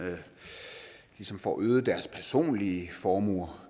ligesom får øget deres personlige formuer